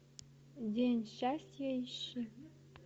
день счастья ищи